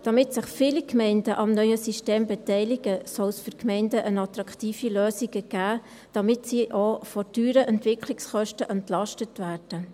Damit sich viele Gemeinden am neuen System beteiligen, soll es für die Gemeinden eine attraktive Lösung geben, damit sie auch von teuren Entwicklungskosten entlastet werden.